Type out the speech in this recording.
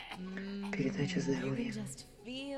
передача здоровье